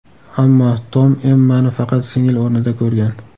Ammo Tom Emmani faqat singil o‘rnida ko‘rgan.